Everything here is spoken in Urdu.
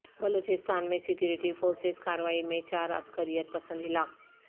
بلوچستان میں سیکورٹی فورسز کاروائی میں چار عسکریت پسند ہلاک